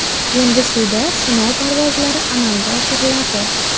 Endi suvda sinov parvozlari amalga oshiriladi.